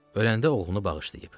Öləndə oğlunu bağışlayıb.